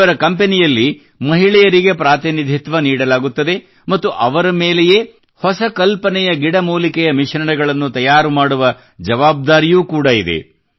ಇವರ ಕಂಪನಿಯಲ್ಲಿ ಮಹಿಳೆಯರಿಗೆ ಪ್ರಾತಿನಿಧಿತ್ವ ನೀಡಲಾಗುತ್ತದೆ ಮತ್ತು ಅವರ ಮೇಲೆಯೇ ಹೊಸ ಕಲ್ಪನೆಯ ಗಿಡಮೂಲಿಕೆಯ ಮಿಶ್ರಣಗಳನ್ನು ತಯಾರು ಮಾಡುವ ಜವಾಬ್ದಾರಿಯೂ ಕೂಡ ಇದೆ